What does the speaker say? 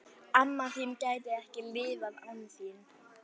Amma þín gæti ekki lifað án þín.